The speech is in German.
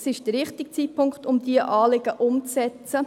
Es ist der richtige Zeitpunkt, um diese Anliegen umzusetzen.